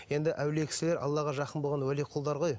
енді әулие кісілер аллаға жақын болқан уәли құлдар ғой